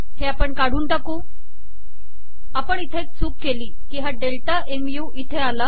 हे आपण काढू आपण इथे एक चूक केली हा डेल्टा मु इथे आला